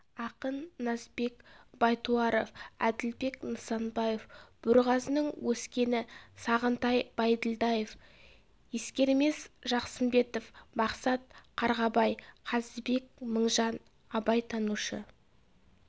ақын назбек байтуаров әділбек нысанбаев бөрғазының өскені сағынтай бәйділдаев ескермес жақсымбетов мақсат қарғабай қазыбек мыңжан абайтанушы